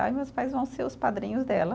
Aí meus pais vão ser os padrinhos dela.